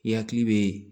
I hakili bɛ